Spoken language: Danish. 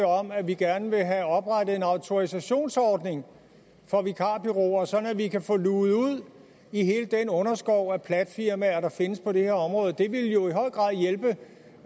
om at vi gerne vil have oprettet en autorisationsordning for vikarbureauer sådan at vi kan få luget ud i hele den underskov af platfirmaer der findes på det her område det ville jo